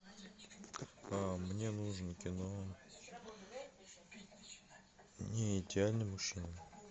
мне нужно кино неидеальный мужчина